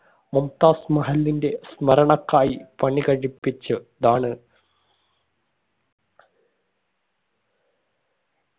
മുംതാസ് മഹലിന്റെ സ്മരണക്കായി പണി കഴിപ്പിച്ച് താണ്